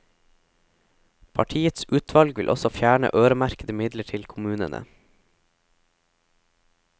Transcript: Partiets utvalg vil også fjerne øremerkede midler til kommunene.